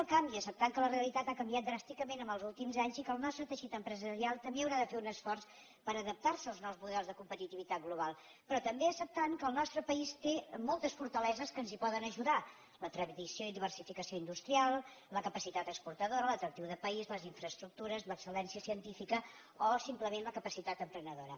el canvi acceptant que la realitat ha canviat dràsticament en els últims anys i que el nostre teixit empresarial també haurà de fer un esforç per adaptar se als nous models de competitivitat global però també acceptant que el nostre país té moltes fortaleses que ens hi poden ajudar la tradició i diversificació industrials la capacitat exportadora l’atractiu de país les infraestructures l’excel·lència científica o simplement la capacitat emprenedora